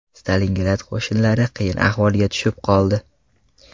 Stalingrad qo‘shinlari qiyin ahvolga tushib qoldi.